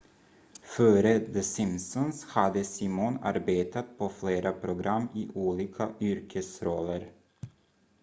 före the simpsons hade simon arbetat på flera program i olika yrkesroller